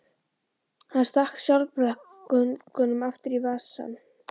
Hann stakk sjálfblekungnum aftur í vasann.